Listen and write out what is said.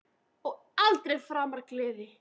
Og aldrei framar gleði.